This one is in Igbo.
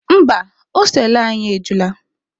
Mba, hostelụ anyị ejula.